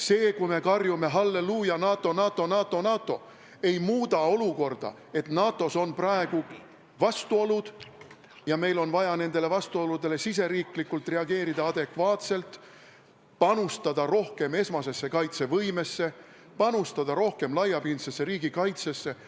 See, kui me karjume "Halleluuja, NATO, NATO, NATO!", ei muuda olukorda, et NATO-s on praegu vastuolud ja meil on riigis vaja nendele adekvaatselt reageerida – panustada rohkem esmasesse kaitsevõimesse, panustada rohkem laiapindsesse riigikaitsesse.